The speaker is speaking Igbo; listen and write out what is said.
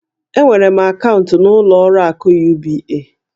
Enwere m akaụntụ n'ụlọ akụ UBA.